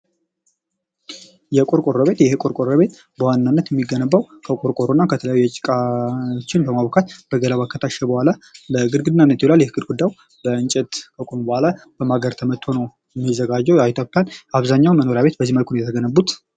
"የቆርቆሮ ቤት፦ ይህ የቆርቆሮ ቤት በዋናነት የሚገነባው ከቆርቆሮና ከተለያዬ ጭቃዋችን በማቡካት በገለባ ከታሸ በሁዋላ በግርግና ይህ ግርጊዳ በእንጨት ከቆመ በሁዋላ በማገር ተመቶ ነው የሚዘጋጀ ያው ይጠብቃል አብዛኛው መኖሪያ ቤት በዚህ መልኩ ነው የተገነቡት።"